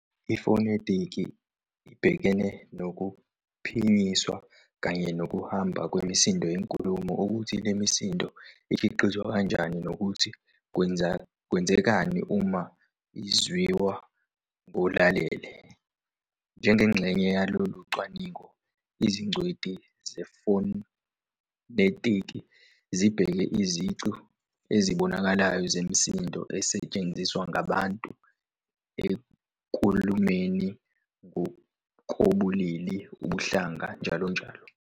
Ifonetiki ibhekene nokuphinyiswa kanye nokuhamba kwemisindo yenkulumo, ukuthi le misindo ikhiqizwa kanjani, nokuthi kwenzekani uma izwiwa ngolalele. Njengengxenye yalolu cwaningo, izingcweti zefonetiki zibheka izici ezibonakalayo zemisindo ezetshenziswa ngabantu enkulumeni, ngokobulili, ubuhlanga, njll.